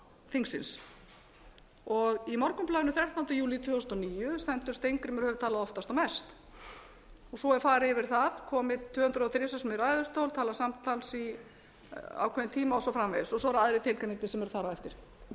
þingsins og í morgunblaðinu sextánda júlí tvö þúsund og níu stendur steingrímur hefur talað oftast og mest og svo er farið yfir það komið tvö hundruð og þrjú sinnum í ræðustól talað samtals í ákveðinn tíma og svo framvegis og svo eru aðrir tilgreindir sem eru þar á eftir